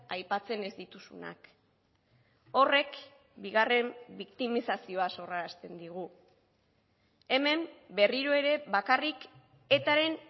aipatzen ez dituzunak horrek bigarren biktimizazioa sorrarazten digu hemen berriro ere bakarrik etaren